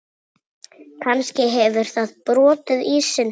Kannski hefur það brotið ísinn.